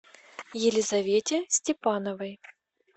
елизавете степановой